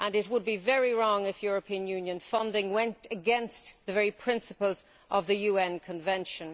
It would be very wrong if European Union funding went against the very principles of the UN Convention.